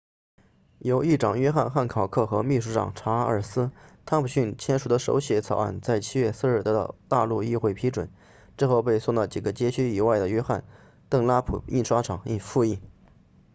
由议长约翰汉考克和秘书长查尔斯汤姆逊签署的手写草案在7月4日得到大陆议会批准之后被送到几个街区以外的约翰邓拉普印刷厂付印